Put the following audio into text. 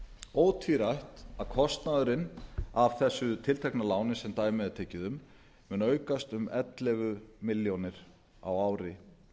ótvírætt að kostnaðurinn af þessu tiltekna láni sem dæmið er tekið um mun aukast um ellefu milljónir á ári